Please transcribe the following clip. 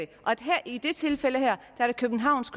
i det her tilfælde er det københavns